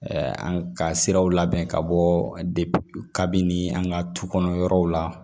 an ka siraw labɛn ka bɔ kabini an ka du kɔnɔ yɔrɔw la